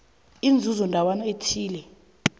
inzuzo ndawana thile